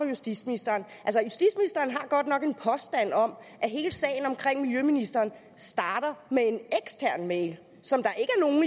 justitsministeren har godt nok en påstand om at hele sagen omkring miljøministeren starter med en ekstern mail som der